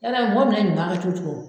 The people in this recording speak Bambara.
Yala mɔgɔ minɛ ɲuman kɛ cogo cogo